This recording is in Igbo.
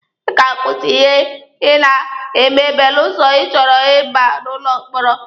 Ị ga-akwụsị ihe a Ị na-eme belụsọ ịchọrọ Ị ba n'ụlọ mkpọrọ.